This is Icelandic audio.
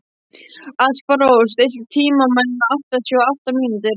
Alparós, stilltu tímamælinn á áttatíu og átta mínútur.